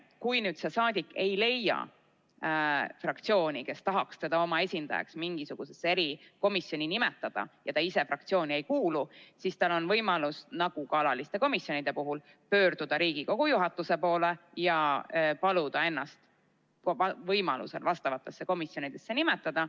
Kui saadik ei leia fraktsiooni, kes tahaks nimetada teda mingisse erikomisjoni oma esindajaks, ta ise aga fraktsiooni ei kuulu, siis on tal võimalus – nagu ka alatiste komisjonide puhul – pöörduda Riigikogu juhatuse poole ja paluda ennast vastavasse komisjoni nimetada.